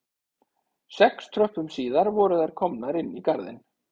Sex tröppum síðar voru þær komnar inn í garðinn